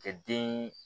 Kɛ den